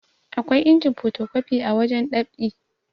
akwai injin potokwafi wajen ɗab'i